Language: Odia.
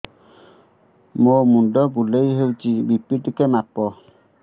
ମୋ ମୁଣ୍ଡ ବୁଲେଇ ହଉଚି ବି.ପି ଟିକେ ମାପ